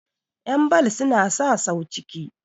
yanbal suna sa sau ciki